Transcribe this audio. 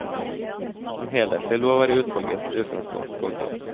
En helhetlig lov er utvalgets utgangspunkt. punktum